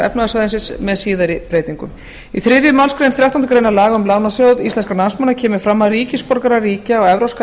efnahagssvæðisins með síðari breytingum í þriðju málsgrein þrettándu grein laga um lánasjóð íslenskra námsmanna kemur fram að ríkisborgarar ríkja á evrópska